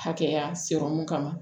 Hakɛya sɔrɔmu kama